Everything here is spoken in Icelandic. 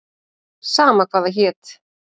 Sama hvað það hét.